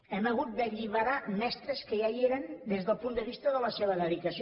hem hagut d’alliberar mestres que ja hi eren des del punt de vista de la seva dedicació